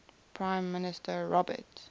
prime minister robert